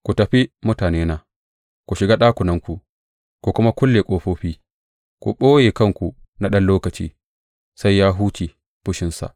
Ku tafi, mutanena, ku shiga ɗakunanku ku kuma kulle ƙofofi; ku ɓoye kanku na ɗan lokaci sai ya huce fushinsa.